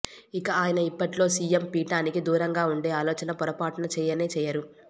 ఇక ఆయన ఇప్పటిలో సీఎం పీఠానికి దూరంగా ఉండే ఆలోచన పొరపాటున చేయనే చేయరు